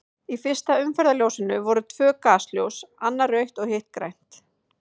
Í fyrsta umferðarljósinu voru tvö gasljós, annað rautt og hitt grænt.